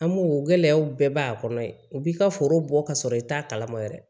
An b'o gɛlɛyaw bɛɛ b'a kɔnɔ ye o b'i ka foro bɔ ka sɔrɔ i t'a kalama yɛrɛ